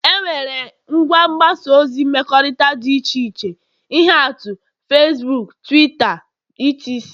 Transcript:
enwere ngwa mgbasa ozi mmekọrịta dị iche iche ihe atụ Fesbuuk, Twitta wdg